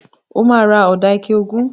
Mà á ra ọ̀dà ike ogún.